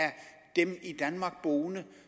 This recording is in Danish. dem i danmark boende